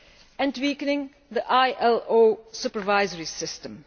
and weakening the ILO supervisory system.